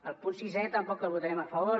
el punt sisè tampoc el votarem a favor